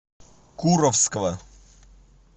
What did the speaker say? куровского